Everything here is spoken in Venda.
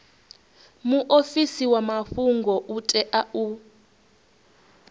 muofisi wa mafhungo u tea